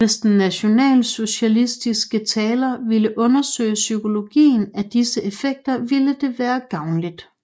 Hvis den nationalsocialistiske taler ville undersøge psykologien af disse effekter ville det være gavnligt